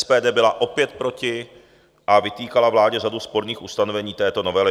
SPD byla opět proti a vytýkala vládě řadu sporných ustanovení této novely.